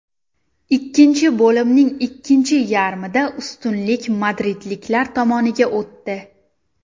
Ikkinchi bo‘limning ikkinchi yarmida ustunlik madridliklar tomoniga o‘tdi.